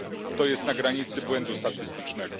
To jest na granicy błędu statystycznego.